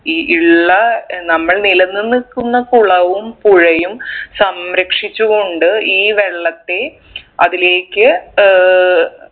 ഈ ഇള്ള ഏർ നമ്മൾ നിലനിന്ന്ക്കുന്ന കുളവും പുഴയും സംരക്ഷിച്ചു കൊണ്ട് ഈ വെള്ളത്തെ അതിലേക്ക് ഏർ